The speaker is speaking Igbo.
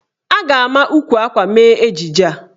A ga-ama ukwu akwa mee ejije a.